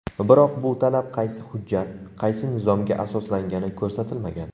Biroq bu talab qaysi hujjat, qaysi nizomga asoslangani ko‘rsatilmagan.